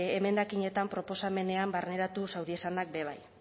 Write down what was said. emendakinetan proposamenean barneratu zauriezanak be bai